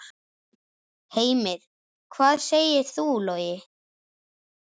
Heimir: Hvað segir þú, Logi?